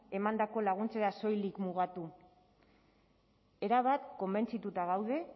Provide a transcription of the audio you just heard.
emandako laguntzetara soilik mugatu erabat konbentzituta gaude